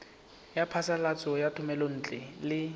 ya phasalatso ya thomelontle le